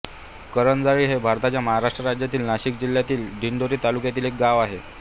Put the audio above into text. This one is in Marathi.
करंजाळी हे भारताच्या महाराष्ट्र राज्यातील नाशिक जिल्ह्यातील दिंडोरी तालुक्यातील एक गाव आहे